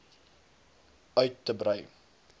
uit te brei